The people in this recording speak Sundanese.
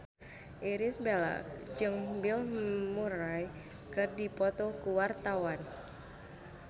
Irish Bella jeung Bill Murray keur dipoto ku wartawan